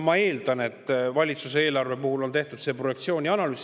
Ma eeldan, et valitsuse eelarve puhul on tehtud selle projektsiooni analüüs.